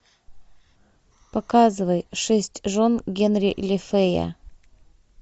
показывай шесть жен генри лефэя